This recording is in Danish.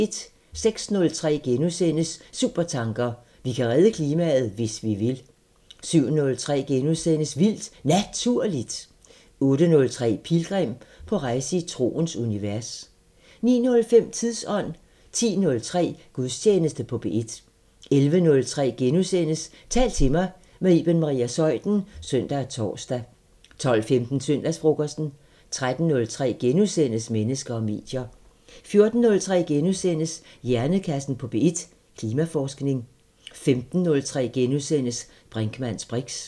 06:03: Supertanker: Vi kan redde klimaet, hvis vi vil * 07:03: Vildt Naturligt * 08:03: Pilgrim – på rejse i troens univers 09:05: Tidsånd 10:03: Gudstjeneste på P1 11:03: Tal til mig – med Iben Maria Zeuthen *(søn og tor) 12:15: Søndagsfrokosten 13:03: Mennesker og medier * 14:03: Hjernekassen på P1: Klimaforskning * 15:03: Brinkmanns briks *